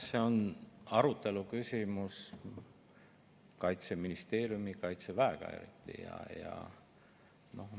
See on Kaitseministeeriumi ja Kaitseväega arutelu küsimus.